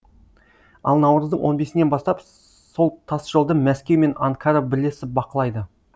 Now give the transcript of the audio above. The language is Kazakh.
ал наурыздың он бесінен бастап сол тасжолды мәскеу мен анкара бірлесіп бақылайды